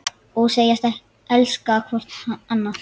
Og segjast elska hvort annað.